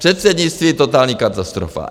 Předsednictví - totální katastrofa.